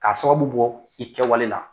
K'a sababu bɔ i kɛwale la